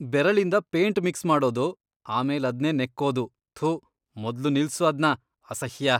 ಬೆರಳಿಂದ paint mix ಮಾಡೋದು, ಆಮೇಲದ್ನೇ ನೆಕ್ಕೋದು.. ಥು, ಮೊದ್ಲು ನಿಲ್ಸು ಅದ್ನ.. ಅಸಹ್ಯ.